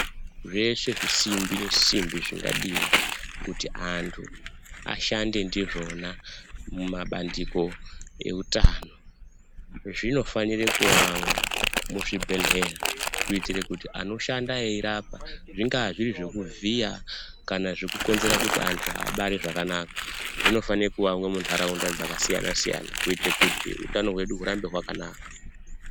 Zvese zvisimbi nesimbi zvingadiwa kuti antu ashande ndizvona mumabandiko eutano. Zvinofanira kuvamwo muzvibhehlera kuitira kuti anoshanda eirapa zvingava zviri zvekuvhiya kana zveku konzera kuti antu abare zvakanaka. zvinofana kuvamo munharaunda dzakasiyana siyana kuitira kuti utano hwurambe hwakanaka.